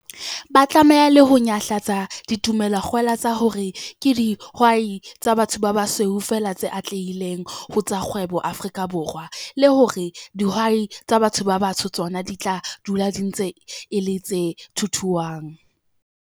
Ba tlameha le ho nyahlatsa ditumelo-kgwela tsa hore ke dihwai tsa ba basweu feela tse atlehileng ho tsa kgwebo Afrika Borwa, le hore dihwai tsa batho ba batsho tsona di tla dula e ntse e le 'tse thuthuang.'